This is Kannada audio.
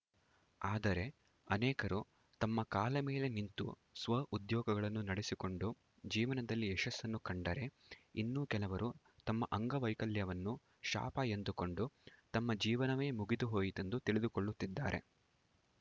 ಆದರೆ ಅನೇಕರು ತಮ್ಮ ಕಾಲ ಮೇಲೆ ನಿಂತು ಸ್ವಉದ್ಯೋಗಗಳನ್ನು ನಡೆಸಿಕೊಂಡು ಜೀವನದಲ್ಲಿ ಯಶಸ್ಸನ್ನು ಕಂಡರೆ ಇನ್ನು ಕೆಲವರು ತಮ್ಮ ಅಂಗವೈಕಲ್ಯವನ್ನು ಶಾಪ ಎಂದುಕೊಂಡು ತಮ್ಮ ಜೀವನವೇ ಮುಗಿದುಹೋಯಿತೆಂದು ತಿಳಿದುಕೊಳ್ಳುತ್ತಿದ್ದಾರೆ